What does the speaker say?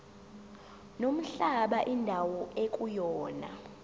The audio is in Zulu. nomhlaba indawo ekuyona